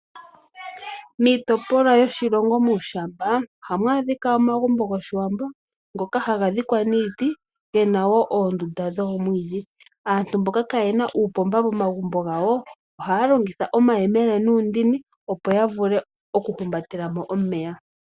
Miitopolwa yoshilongo muushayi ohamu adhika omagumbo goshiwambo ngoka haga dhikwa niiti, gena woo oondunda dhoomwiidhi. Aantu mboka kaayena uupomba momagumbo gawo ohaya longitha omayemele nuundini opo yavule okuhumbatela mo omeya.